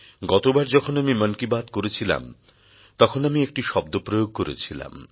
গতবার যখন আমি মন কি বাত করেছিলাম তখন আমি একটি শব্দপ্রয়োগ করেছিলাম